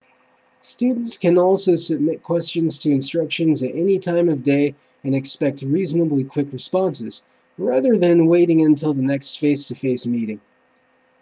students can also submit questions to instructors at any time of day and expect reasonably quick responses rather than waiting until the next face-to-face meeting